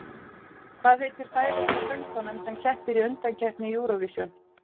Hvað heitir færeyska söngkonan sem keppir í undankeppni Eurovision?